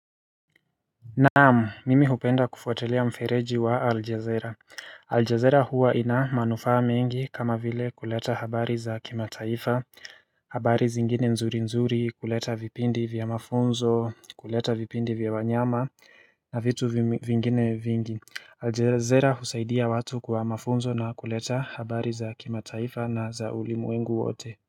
Naam, mimi hupenda kufuatilia mfereji wa Aljezera. Aljezera huwa ina manufaa mingi kama vile kuleta habari za kimataifa, habari zingine nzuri nzuri, kuleta vipindi vya mafunzo, kuleta vipindi vya wanyama na vitu vingine vingi. Aljezera husaidia watu kwa mafunzo na kuleta habari za kimataifa na za ulimu wengu wote.